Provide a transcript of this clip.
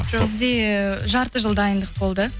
бізде жарты жыл дайындық болды